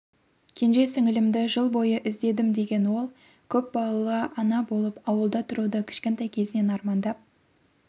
кенже сіңілімді жыл бойы іздедім деген ол көпбалалы ана болып ауылда тұруды кішкентай кезінен армандап